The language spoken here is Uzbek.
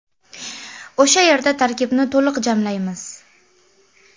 O‘sha yerda tarkibni to‘liq jamlaymiz.